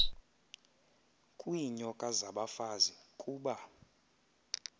kwiinyoka zabafazi kuba